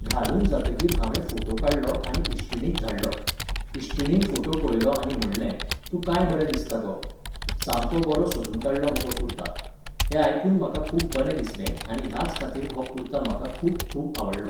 घालून जातगीर हांवे फोटो काडलो आनी इश्टीणीक धाडलो. इश्टीणीन फोटो पळयलो आनी म्हणलें, तूं काय बरें दिसतो गो. सामको बरो सोदून काडलो मगो कुर्ता. हें आयकून म्हाका खूब बरें दिसलें आनी ह्याच खातीर हो कुर्ता म्हाका खूब खूब आवडलो.